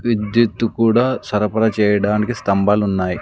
విద్యుత్తు కూడా సరఫరా చేయడానికి స్తంభాలు ఉన్నాయి.